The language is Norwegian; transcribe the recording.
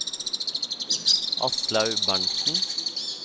Aslaug Berntsen